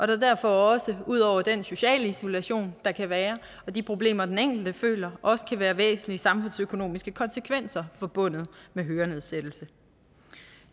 der derfor også ud over den sociale isolation der kan være og de problemer den enkelte føler også kan være væsentlige samfundsøkonomiske konsekvenser forbundet med hørenedsættelse